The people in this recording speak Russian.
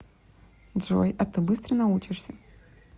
джой а ты быстро научишься